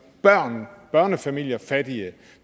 gør børnefamilier fattige